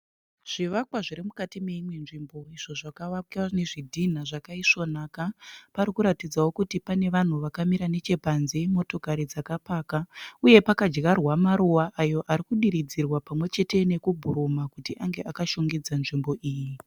Zvivakwa zviri mukati neimwe nzvimbo izvo zvakavakwa nezvidhinha zvakaisvonaka. Pari kuratidzawo kuti pane vanhu vakamira nechepanze. Motokari dzakapakwa uye pakadyarwa maruva ayo ari kudiridzwa pamwe chete nekubhuruma kuti ange ashongedze nzvimbo iyi.